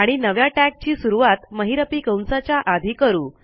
आणि नव्या टॅग ची सुरूवात महिरपी कंसाच्या आधी करू